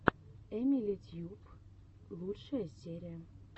эмили тьюб лучшая серия